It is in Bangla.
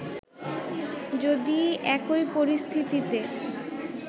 যদি একই পরিস্থিতিতে